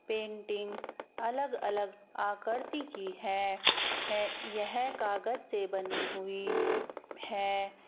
Painting अलग अलग आकृति की है है यह कागज से बनी हुई है।